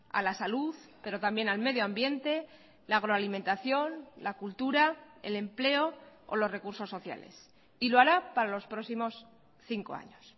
a la salud pero también al medio ambiente la agroalimentación la cultura el empleo o los recursos sociales y lo hará para los próximos cinco años